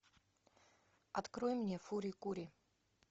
открой мне фури кури